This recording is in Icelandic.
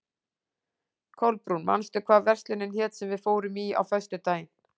Kolbrún, manstu hvað verslunin hét sem við fórum í á föstudaginn?